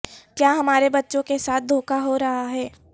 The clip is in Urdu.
کیا ہمارے بچوں کے ساتھ دھوکہ ہو رہا ہے